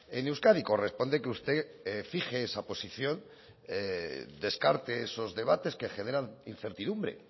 en euskadi corresponde que usted fije esa posición descarte esos debates que generan incertidumbre